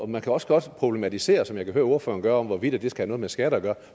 man kan også godt problematisere som jeg kan høre ordføreren gør hvorvidt det skal have noget med skat at gøre